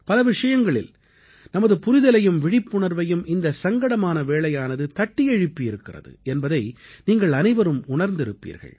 பல விஷயங்களில் நமது புரிதலையும் விழிப்புணர்வையும் இந்தச் சங்கடமான வேளையானது தட்டி எழுப்பி இருக்கிறது என்பதை நீங்கள் அனைவரும் உணர்ந்திருப்பீர்கள்